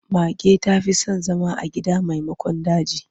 Mage ta fi son zama a gida maimakon daji.